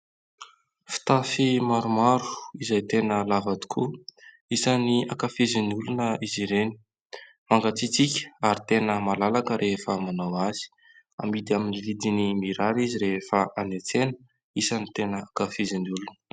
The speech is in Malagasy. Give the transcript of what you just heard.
Fitafy maromaro izay tena lava tokoa. Isany akafizin'ny olona izy ireny. Mangatsiatsiaka ary tena malalaka rehefa manao azy. Amidy amin'ny vidiny mirary izy rehefa any an-tsena, isany tena ankafizin'ny olona.